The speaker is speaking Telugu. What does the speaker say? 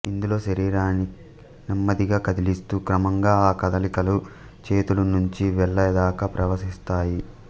ఇందులో శరీరాన్ని నెమ్మదిగా కదిలిస్తూ క్రమంగా ఆ కదలికలు చేతుల నుంచి వేళ్ళ దాకా ప్రవహిస్తాయి